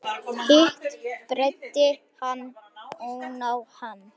Hitt breiddi hann oná hann.